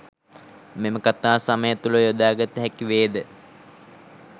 මෙම කතා සමය තුල යොදාගත හැකි වේද?